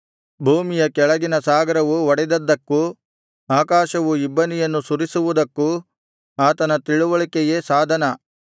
ಭೂಮಿಯ ಕೆಳಗಿನ ಸಾಗರವು ಒಡೆದದ್ದಕ್ಕೂ ಆಕಾಶವು ಇಬ್ಬನಿಯನ್ನು ಸುರಿಸುವುದಕ್ಕೂ ಆತನ ತಿಳಿವಳಿಕೆಯೇ ಸಾಧನ